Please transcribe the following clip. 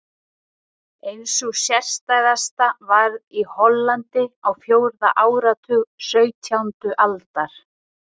Ein sú sérstæðasta varð í Hollandi á fjórða áratug sautjándu aldar.